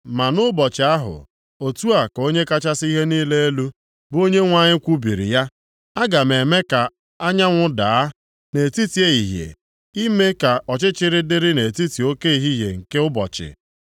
“Ma nʼụbọchị ahụ,” otu a ka Onye kachasị ihe niile elu, bụ Onyenwe anyị kwubiri ya, “Aga m eme ka anyanwụ daa + 8:9 Ya bụ, ime ka chi jie nʼetiti ehihie, ime ka ọchịchịrị dịrị nʼetiti oke ehihie nke ụbọchị.